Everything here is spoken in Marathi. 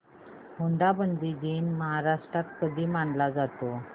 हुंडाबंदी दिन महाराष्ट्रात कधी मानला जातो